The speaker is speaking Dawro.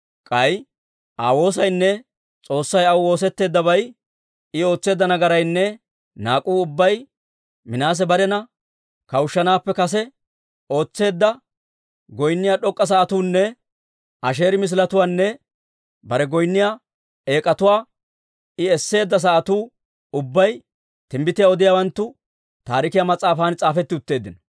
K'ay Aa woosaynne S'oossay aw woosetteeddabay, I ootseedda nagaraynne naak'uu ubbay, Minaase barena kawushshanaappe kase ootseedda goynniyaa d'ok'k'a sa'atuunne Asheeri misiletuwaanne bare goynniyaa eek'atuwaa I esseedda sa'atuu ubbay Timbbitiyaa odiyaawanttu Taarikiyaa mas'aafan s'aafetti utteeddino.